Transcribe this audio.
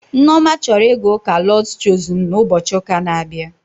Nneoma chọrọ ịga ụka Lọds Chozun na ụbochi ụka na abịa